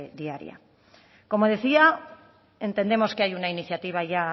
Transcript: diaria como decía entendemos que hay una iniciativa ya